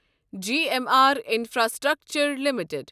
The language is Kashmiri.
G M R Infrastructure limited